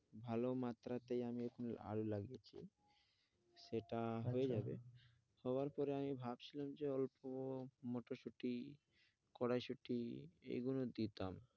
ভালো মাত্রাতেই আমি আলু লাগিয়েছি সেটা হয়ে যাবে সবার উপরে আমি ভাবছিলাম যে অল্প একটু মটরশুঁটি কড়াইশুঁটি এইগুলো দিতাম।